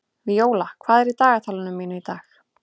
Víóla, hvað er í dagatalinu mínu í dag?